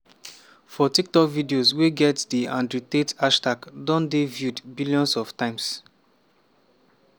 for tiktok videos wey get di andrew tate hashtag don dey viewed billions of times.